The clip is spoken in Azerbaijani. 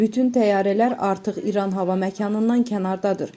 Bütün təyyarələr artıq İran hava məkanından kənardadır.